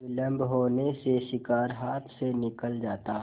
विलम्ब होने से शिकार हाथ से निकल जाता